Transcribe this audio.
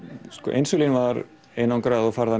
insúlín var einangrað og